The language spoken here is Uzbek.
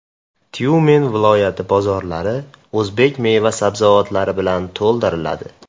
Tyumen viloyati bozorlari o‘zbek meva-sabzavotlari bilan to‘ldiriladi.